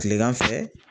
Kilegan fɛ